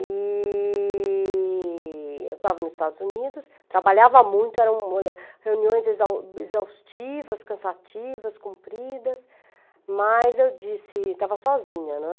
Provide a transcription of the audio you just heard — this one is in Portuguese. E eu estava nos Estados Unidos, trabalhava muito, eram olha, reuniões exau exaustivas, cansativas, compridas, mas eu disse, estava sozinha, né?